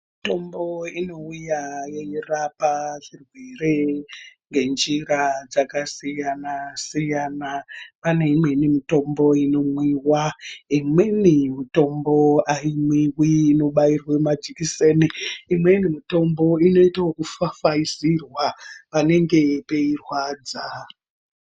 Mitombo inouya yechirapa chirwere ngenjira dzakasiyana siyana. Pane imweni mitombo inomwiwa, imweni mitombo ayimwiwi inobairwe majekiseni. Imweni mitombo inoite kufafaizirwa panenge peirwadza.